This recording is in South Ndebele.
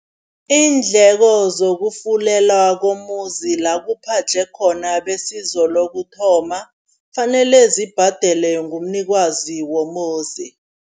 Iindleko zokufulela komuzi la kuphadlhe khona besizo lokuthoma, kufanele zibhadelwe ngumnikazi womuzi.